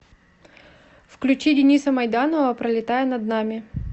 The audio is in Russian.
включи дениса майданова пролетая над нами